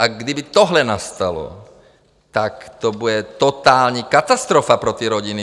A kdyby tohle nastalo, tak to bude totální katastrofa pro ty rodiny.